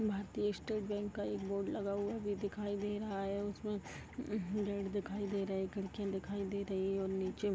भारतीय state bank का एक बोर्ड लगा हुआ भी दिखाई दे रहा है उसमें उह गेट दिखाई दे रहा है खिड़कियां दिखाई दे रही है और नीचे --